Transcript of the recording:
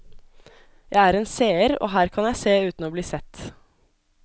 Jeg er en seer, og her kan jeg se uten å bli sett.